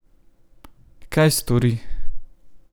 Kaj stori?